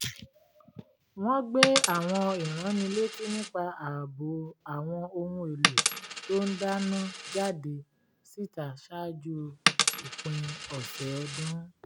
wọ́n gbé àwọn ìránnilétí nípa ààbò àwọn ohun èlò tó ń dáná jáde síta ṣáájú òpin ọ̀sẹ̀ ọdún